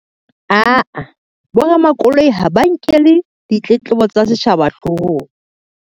Aa, boramakoloi ha ba nkele ditletlebo tsa setjhaba hloohong.